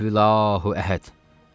Qul hüvəllahu Əhəd.